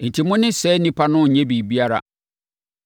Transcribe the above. Enti, mo ne saa nnipa no nnyɛ biribiara.